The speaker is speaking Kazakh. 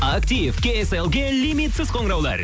актив кейселге лимитсіз қоңыраулар